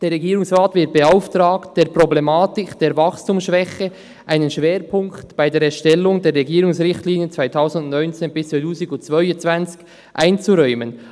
«Der Regierungsrat wird beauftragt, der Problematik der Wachstumsschwäche einen Schwerpunkt bei der Erstellung der Regierungsrichtlinien 2019–2022 einzuräumen.